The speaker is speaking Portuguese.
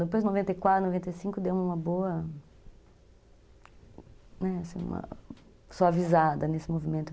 Depois, em noventa e quatro, noventa e cinco, deu uma boa... uma suavizada nesse movimento.